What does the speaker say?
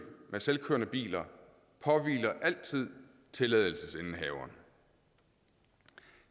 med selvkørende biler påhviler altid tilladelsesindehaveren